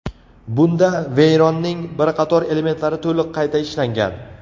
Bunda Veyron’ning bir qator elementlari to‘liq qayta ishlangan.